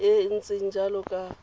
e e ntseng jalo ka